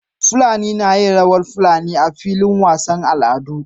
Fulani nayin rawar fulani a filin wasan al'adu